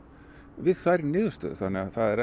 við þær niðurstöður þannig að það er